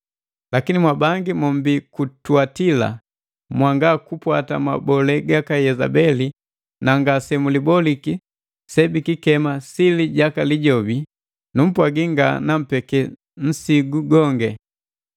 “Lakini mwabangi mombi ku Tuatila mwanga kupwata mabole gaka Yezebeli na ngase muliboliki se bikikema ‘sili jaka Lijobi’: Numpwagi nga nampeke nsigu gongi.